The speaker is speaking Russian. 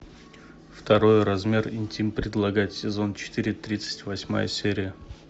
второй размер интим предлагать сезон четыре тридцать восьмая серия